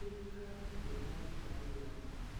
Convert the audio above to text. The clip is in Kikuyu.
Thirikari ndĩraruta wĩra wega